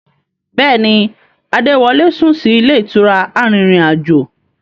Bẹ́ẹ̀ni, Adé wọlé sún sì ilé ìtura arìnrìn-àjò.